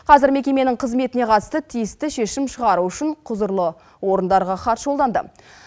қазір мекеменің қызметіне қатысты тиісті шешім шығару үшін құзырлы орындарға хат жолданды